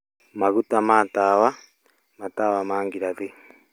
Maguta ma tawa; matawa ma ngirathi